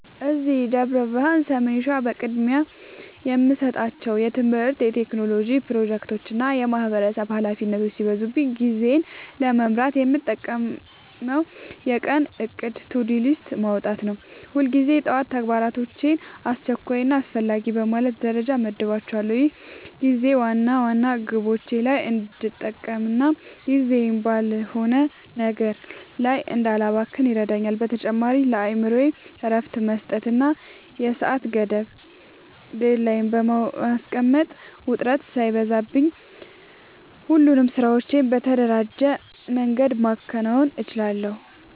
እዚህ ደብረ ብርሃን (ሰሜን ሸዋ) በቅድሚያ የምሰጣቸው የትምህርት፣ የቴክኖሎጂ ፕሮጀክቶችና የማህበረሰብ ኃላፊነቶች ሲበዙብኝ ጊዜዬን ለመምራት የምጠቀመው የቀን እቅድ (To-Do List) ማውጣትን ነው። ሁልጊዜ ጠዋት ተግባራቶቼን አስቸኳይና አስፈላጊ በማለት ደረጃ እመድባቸዋለሁ። ይህ ዘዴ ዋና ዋና ግቦቼ ላይ እንድጠመድና ጊዜዬን ባልሆኑ ነገሮች ላይ እንዳላባክን ይረዳኛል። በተጨማሪም ለአእምሮዬ እረፍት በመስጠትና የሰዓት ገደብ (Deadline) በማስቀመጥ፣ ውጥረት ሳይበዛብኝ ሁሉንም ስራዎቼን በተደራጀ መንገድ ማከናወን እችላለሁ።